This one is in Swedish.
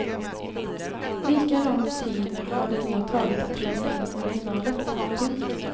Lika lång tid har det då tagit att läsa in originalet. punkt